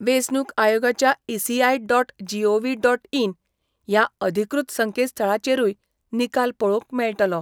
वेचणूक आयोगाच्या 'ECI dot gov dot in 'या अधिकृत संकेतस्थळाचेरुय निकाल पळोवंक मेळटलो.